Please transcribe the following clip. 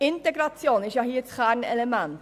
Integration ist hier das Kernelement.